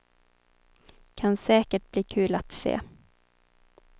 Kan säkert bli kul att se.